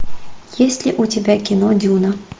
есть ли у тебя кино дюна